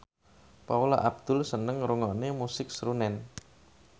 Paula Abdul seneng ngrungokne musik srunen